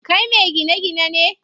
Kai me gine gine ne?